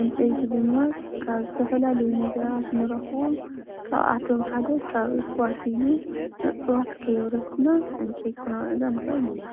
ዕንፀይቲ ድማ ካብ ዝተፈላለዩ ነገራት እንረክቦ ካብኣቶም ሓደ ካብ እፅዋት እዩ፡፡ እፅዋት ከይኣብረስና ዕንፀይቲ ክነውዕሎ ንክእል ኢና፡፡